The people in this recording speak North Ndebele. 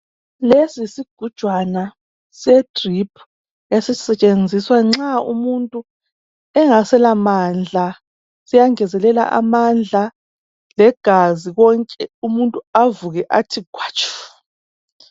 Lesi yisigujwana sedrip esisetshenziswa nxa umuntu engasela mandla siyangezelela amandla legazi konke umuntu avuke athi khwatshu.